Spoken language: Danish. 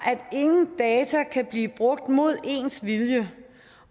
ingen data kan blive brugt mod ens vilje